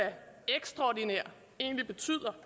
ekstraordinær egentlig betyder